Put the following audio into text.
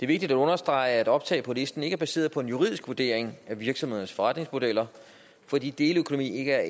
vigtigt at understrege at optag på listen ikke er baseret på en juridisk vurdering af virksomhedernes forretningsmodeller fordi deleøkonomi ikke er